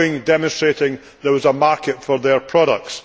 demonstrating there was a market for their products.